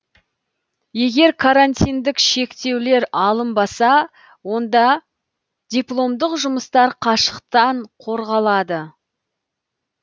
егер карантиндік шектеулер алынбаса онда дипломдық жұмыстар қашықтан қорғалады